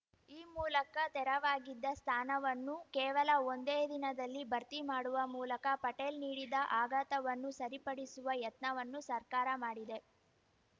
ಈ ಮೂಲಕ ತೆರವಾಗಿದ್ದ ಸ್ಥಾನವನ್ನು ಕೇವಲ ಒಂದೇ ದಿನದಲ್ಲಿ ಭರ್ತಿ ಮಾಡುವ ಮೂಲಕ ಪಟೇಲ್‌ ನೀಡಿದ್ದ ಆಘಾತವನ್ನು ಸರಿಪಡಿಸುವ ಯತ್ನವನ್ನು ಸರ್ಕಾರ ಮಾಡಿದೆ